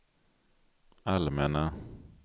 allmänna